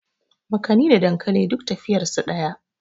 makani da dankali duk tafiyar su daya